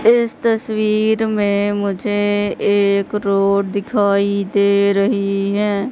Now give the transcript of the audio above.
इस तस्वीर में मुझे एक रोड दिखाई दे रही है।